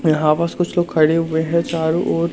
यहां पास कुछ लोग खड़े हुए हैं चारों ओर--